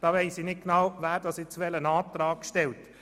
Da weiss ich nicht genau, wer jetzt welchen Antrag stellt.